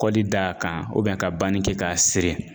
Kɔli d'a kan ka banni kɛ k'a siri.